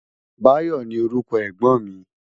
Bayo ni órúkò ègbòn mi